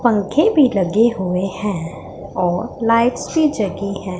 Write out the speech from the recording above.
पंखे भी लगे हुए हैं और लाइट्स भी जगी हैं।